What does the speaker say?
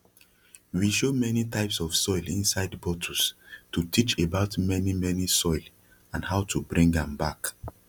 we show mani types of soil insid bottles to teach about mani mani soil and how to bring am back